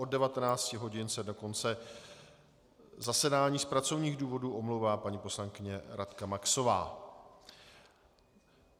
Od 19 hodin se do konce zasedání z pracovních důvodů omlouvá paní poslankyně Radka Maxová.